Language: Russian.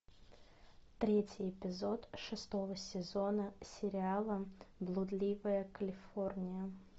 третий эпизод шестого сезона сериала блудливая калифорния